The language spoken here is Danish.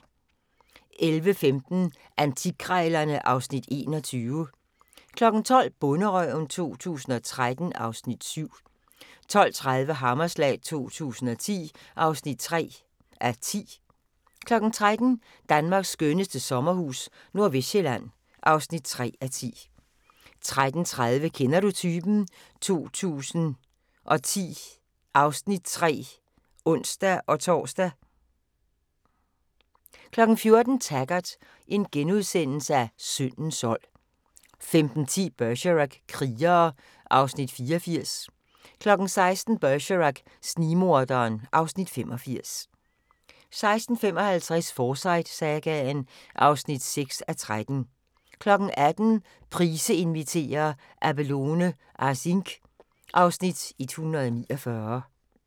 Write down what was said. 11:15: Antikkrejlerne (Afs. 21) 12:00: Bonderøven 2013 (Afs. 7) 12:30: Hammerslag 2010 (3:10) 13:00: Danmarks skønneste sommerhus - Nordvestsjælland (3:10) 13:30: Kender du typen? 2010 (Afs. 3)(ons-tor) 14:00: Taggart: Syndens sold * 15:10: Bergerac: Krigere (Afs. 84) 16:00: Bergerac: Snigmorderen (Afs. 85) 16:55: Forsyte-sagaen (6:13) 18:00: Price inviterer - Abelone Asingh (Afs. 149)